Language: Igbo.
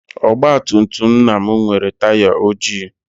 Ọgbatumtum nna m nwere taya ojii.